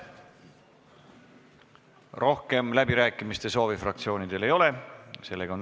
Rohkem läbirääkimiste soovi fraktsioonidel ei ole.